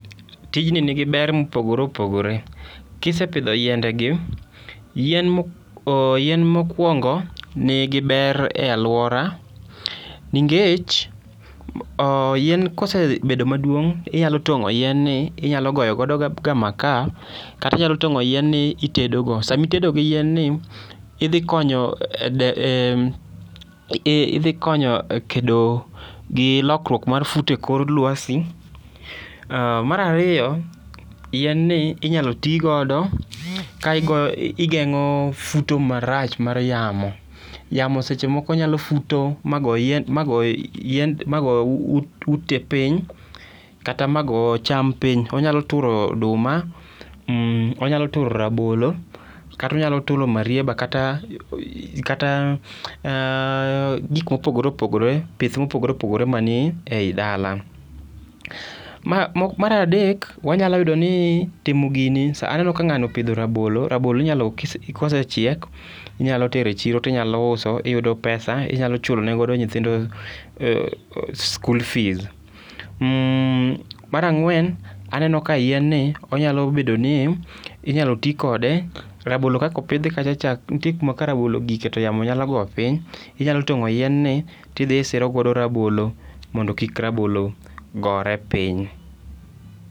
Tijni nigi ber mopogore opogore, kisepidho yiendegi, yien mokwongo, nigi ber e alwora, ningech yien kosebedo maduong 'inyalo tong'o yien ni, inyalo goyo godo ga maka, kata inyalo tong'o yien ni itedogo. sami tedo gi yienni, idhi konyo e kedo gi lokruok mar e kor lwasi, mar ariyo, yienni inyalo tigodo ka igeng'o futo marach mar yamo, yamo seche moko nyalo futo mago ute piny, kata ma go cham piny, onyalo turo oduma ,onyalo turo rabolo, kata onyalo turo marieba kata gik mopogore opogore, pith mopogore opogore mani ei dala. Mar adek, wanyalo yudoni timo gini sa ,aneno ka ng'ano opidho rabolo, rabolo inyalo kosechiek, inyalo tere chiro tinyalo uso, iyudo pesa, inyalo chulo ne godo nyithindo skul fees. Mar ang'wen, aneno ka yienni onyalo bedo ni ,inyalo ti kode ,rabolo kaka opidhi kaka cha, nitie kuma ka rabolo ogike, to yamo nyalo go piny. Inyalo tong'o yienni tidhi isiro godo rabolo mondo kik rabolo gore piny.